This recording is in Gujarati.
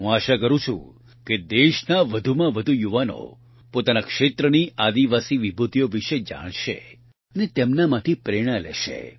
હું આશા કરું છું કે દેશના વધુમાં વધુ યુવાનો પોતાના ક્ષેત્રની આદિવાસી વિભૂતિઓ વિશે જાણશે અને તેમનામાંથી પ્રેરણા લેશે